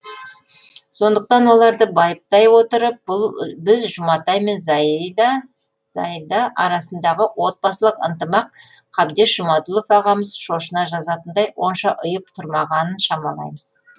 сондықтан оларды байыптай отырып біз жұматай мен зайда арасындағы отбасылық ынтымақ қабдеш жұмаділов ағамыз шошына жазатындай онша ұйып тұрмағанын шамалаймыз